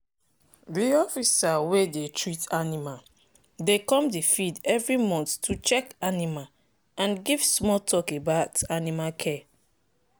the officer wey dey treat animal dey come the field every month to check animal and give small talk about animal care.